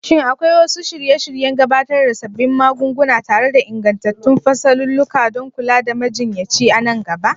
Shin akwai wasu shirye-shiryen gabatar da sabbin magunguna tare da ingantattun fasalulluka don kula da majinyaci a nan gaba?